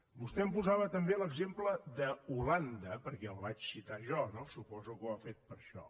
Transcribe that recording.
vostè em posava també l’exemple d’holanda perquè el vaig citar jo no suposo que ho ha fet per això